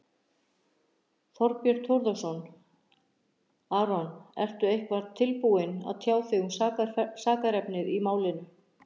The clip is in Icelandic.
Þorbjörn Þórðarson: Aron, ertu eitthvað tilbúinn að tjá þig um sakarefnið í málinu?